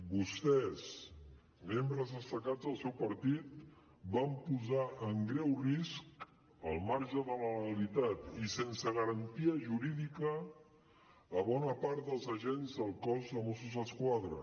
vostès membres destacats del seu partit van posar en greu risc al marge de la legalitat i sense garantia jurídica bona part dels agents del cos de mossos d’esquadra